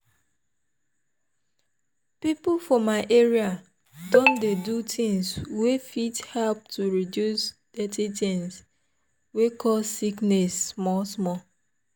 people for my area don dey do things wey fit help to reduce dirty things wey cause sickness small small.